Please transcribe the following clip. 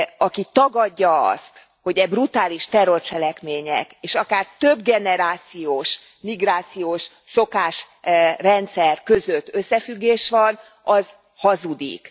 Aki tagadja azt, hogy e brutális terrorcselekmények és akár többgenerációs migrációs szokásrendszer között összefüggés van, az hazudik.